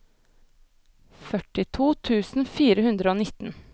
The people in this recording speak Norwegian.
førtito tusen fire hundre og nitten